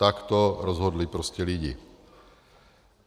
Tak to rozhodli prostě lidi.